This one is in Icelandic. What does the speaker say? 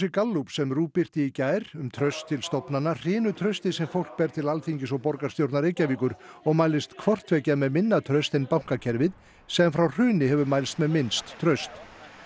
Gallups sem RÚV birti í gær um traust til stofnana hrynur traustið sem fólk ber til Alþingis og borgarstjórnar Reykjavíkur og mælist hvort tveggja með minna traust en bankakerfið sem frá hruni hefur mælst með minnst traust